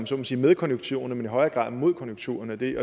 så må sige med konjunkturerne men i højere grad mod konjunkturerne og det